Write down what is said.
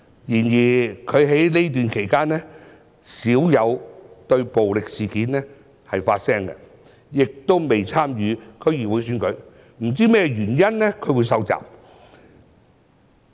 然而，他在這段期間少有就暴力事件發聲，亦未有參與區議會選舉，不知道他受襲的原因。